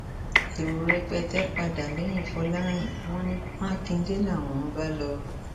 èrò rẹpẹtẹ padà lẹyìn fọlọrìn wọn ní mákindé làwọn ń bá lọ